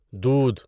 دودھ